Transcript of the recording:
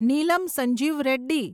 Neelam Sanjiva Reddy